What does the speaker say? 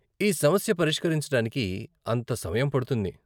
ఈ సమస్య పరిష్కరించటానికి అంత సమయం పడుతుంది?